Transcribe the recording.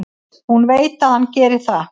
Hún veit að hann gerir það.